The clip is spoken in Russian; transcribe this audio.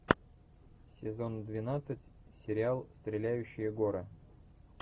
сезон двенадцать сериал стреляющие горы